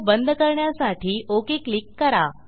तो बंद करण्यासाठी ओक क्लिक करा